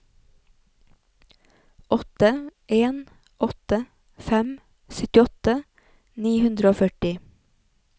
åtte en åtte fem syttiåtte ni hundre og førti